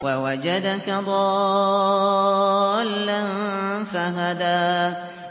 وَوَجَدَكَ ضَالًّا فَهَدَىٰ